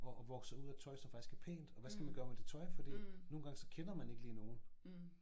Og og vokser ud af tøj som faktisk er pænt og hvad skal man gøre med det tøj fordi nogen gange så kender man ikke lige nogen